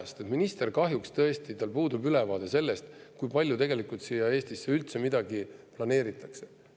Sest ministril kahjuks tõesti puudub ülevaade selle kohta, kui palju tegelikult Eestisse üldse midagi planeeritakse.